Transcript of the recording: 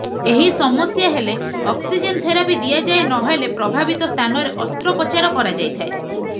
ଏହି ସମସ୍ୟା ହେଲେ ଅକ୍ସିଜେନ୍ ଥେରାପି ଦିଆଯାଏ ନ ହେଲେ ପ୍ରଭାବିତ ସ୍ଥାନରେ ଅସ୍ତ୍ରୋପଚାର କରାଯାଇଥାଏ